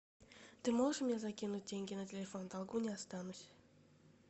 ты можешь мне закинуть деньги на телефон в долгу не останусь